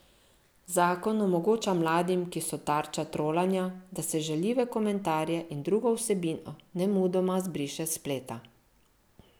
Zakon omogoča mladim, ki so tarča trolanja, da se žaljive komentarje in drugo vsebino nemudoma zbriše s spleta.